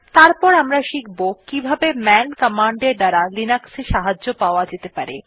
তারপর আমরা শিখব কিভাবে মান কমান্ড এর দ্বারা লিনাক্সে সাহায্য পাওয়া যেতে পারে